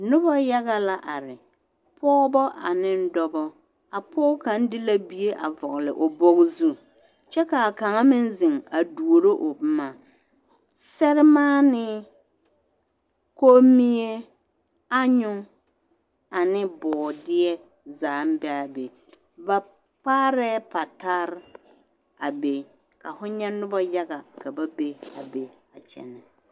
Noba yaɡa la are pɔɔbɔ ane dɔbɔ a pɔɡe kaŋa de la bie a vɔɡele o bɔɡɔ zu kyɛ ka kaŋa meŋ zeŋ a duoro o boma sɛremaanee , komie, anyu ane bɔɔdeɛ zaa be a be ba kpaarɛɛ patar a be ka fo nyɛ noba yaɡa ka ba be a be.